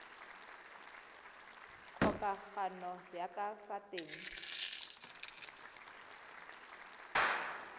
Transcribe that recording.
kgokagano ya ka fa teng